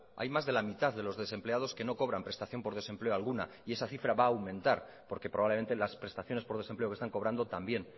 hay más de la mitad de los desempleados que no cobran prestación por desempleo alguna y esa cifra va a aumentar porque probablemente las prestaciones por desempleo que están cobrando también